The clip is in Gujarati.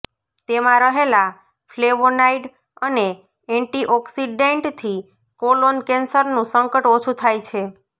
તેમા રહેલા ફ્લેવોનાઈડ અને એંટીઓક્સીડૈંટથી કોલોન કેંસરનુ સંકટ ઓછુ થાય છે